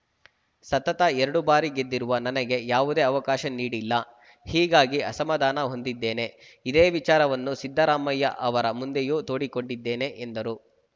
ಸತತ ಎರಡು ಬಾರಿ ಗೆದ್ದಿರುವ ನನಗೆ ಯಾವುದೇ ಅವಕಾಶ ನೀಡಿಲ್ಲ ಹೀಗಾಗಿ ಅಸಮಾಧಾನ ಹೊಂದಿದ್ದೇನೆ ಇದೇ ವಿಚಾರವನ್ನು ಸಿದ್ದರಾಮಯ್ಯ ಅವರ ಮುಂದೆಯೂ ತೋಡಿಕೊಂಡಿದ್ದೇನೆ ಎಂದರು